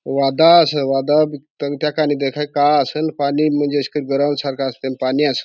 वादळा अस वादळा तत्या का नी देखाय का असेल पानी मंज इस क गर सरक अस आणि पाणी असं.